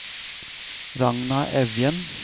Ragna Evjen